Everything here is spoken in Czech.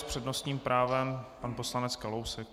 S přednostním právem pan poslanec Kalousek.